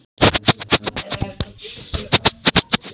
Já en, það voru þeir sem byrjuðu, sagði Svenni.